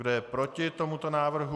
Kdo je proti tomuto návrhu?